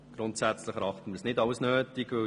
Grundsätzlich erachten wir diesen nicht als nötig.